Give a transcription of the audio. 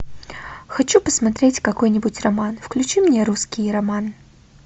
хочу посмотреть какой нибудь роман включи мне русский роман